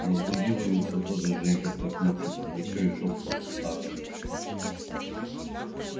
разбудил его все тот же женька тряхнувший за плечо и шёпотом сообщивший